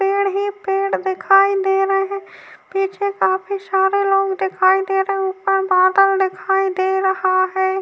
पेड़ ही पेड़ दिखाई दे रहे हैं। पीछे काफी सारे लोग दिखाई दे रहा है। ऊपर बादल दिखाई दे रहा है।